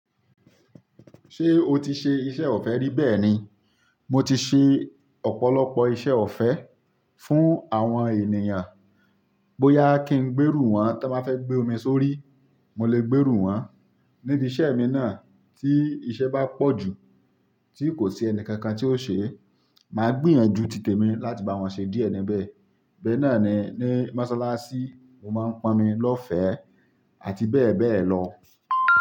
Ṣé o ti ṣe iṣẹ́ ọ̀fẹ́ rí bẹ́ẹ̀ ni? Mo ti ṣe ọ̀pọ̀lọpọ̀ iṣẹ́ ọ̀fẹ́ fún àwọn ènìyàn. Bóyá kí n gbérú wọn tọ́ bá fẹ́ gbé omi sórí, mo lè gbérú wọ́n. Nídi iṣẹ́ mi náà, tí iṣẹ́ bá pọ̀ jù, tí kò sí ẹni kankan tí ó ṣe, màá gbìyànjú tìtẹ mi láti bá wọn ṣe díẹ̀ níbẹ̀. Bẹ́ẹ̀ náà ni ní Mọ́sálásí, mo máa ń pọnmi lọ́fẹ́ àti bẹ́ẹ̀ bẹ́ẹ̀ lọ.